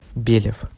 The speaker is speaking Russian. белев